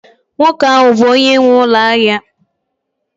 nwoke ahụ bụ onye nwe ụlọ ahịa